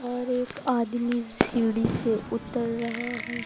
और एक आदमी सीढी से उतर रहा है।